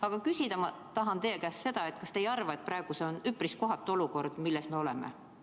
Aga küsida ma tahan teie käest seda: kas te ei arva, et see on üpris kohatu olukord, milles me oleme?